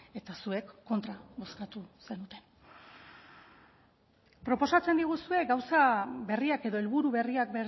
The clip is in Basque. eta zuek kontra bozkatu zenuten proposatzen diguzue gauza berriak edo helburu berriak